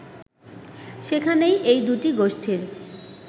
সেখানেই এই দুটি গোষ্ঠীর